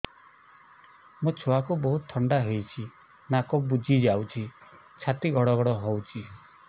ମୋ ଛୁଆକୁ ବହୁତ ଥଣ୍ଡା ହେଇଚି ନାକ ବୁଜି ଯାଉଛି ଛାତି ଘଡ ଘଡ ହଉଚି